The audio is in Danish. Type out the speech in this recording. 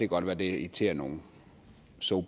godt være det irriterer nogen so